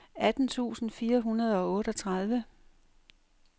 atten tusind fire hundrede og otteogtredive